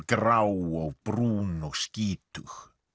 grá og brún og skítug